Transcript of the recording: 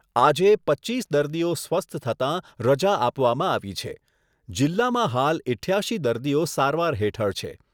આજે પચ્ચીસ દર્દીઓ સ્વસ્થ થતાં રજા આપવામાં આવી છે, જીલ્લામાં હાલ ઈઠ્યાશી દર્દીઓ સારવાર હેઠળ છે.